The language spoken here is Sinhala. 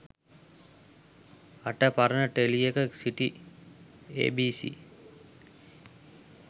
අට පරණ ටෙලියක සිටි ඒ.බී.සී.